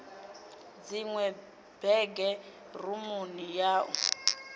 dziṅwe bege rumuni ya u